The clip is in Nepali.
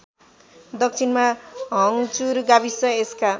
दक्षिणमा हङ्चुर गाविस यसका